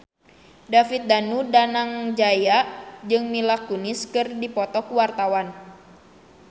David Danu Danangjaya jeung Mila Kunis keur dipoto ku wartawan